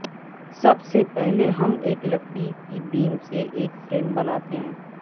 سب سے پہلے ہم ایک لکڑی کی بیم سے ایک فریم بناتے ہیں